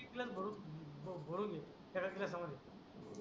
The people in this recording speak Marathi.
तितलस भरून भरून घेऊ त्या ग गिलासा मध्ये